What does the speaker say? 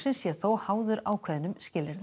sé þó háður ákveðnum skilyrðum